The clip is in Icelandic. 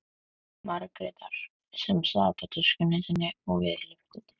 Margrétar sem sat á töskunni sinni við lyftudyrnar.